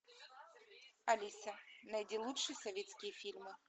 алиса найди лучшие советские фильмы